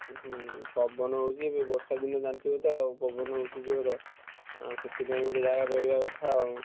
ଉହୁଁ ପବନ ହଉଛି ଏବେ ବର୍ଷା ଦିନ ଜାଣିଥିବ ତ ଆଉ ଯୋଉ ପବନ ହଉଛି ଜୋର ତ ସେଥିପାଇଁ ଯାହା କରିବ।